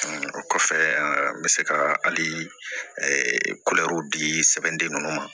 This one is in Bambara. O kɔfɛ n bɛ se ka hali kulɛri di sɛbɛnden ninnu ma